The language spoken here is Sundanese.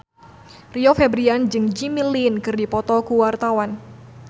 Rio Febrian jeung Jimmy Lin keur dipoto ku wartawan